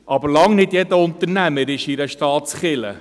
Aber bei Weitem nicht jeder Unternehmer ist in einer Staatskirche.